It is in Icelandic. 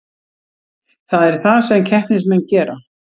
Það er það sem keppnismenn gera